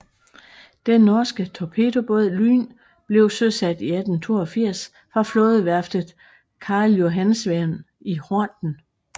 Den norske torpedobåd Lyn blev søsat i 1882 fra flådeværftet Karljohansvern i Horten